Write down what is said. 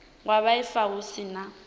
wa vhuaifa hu si na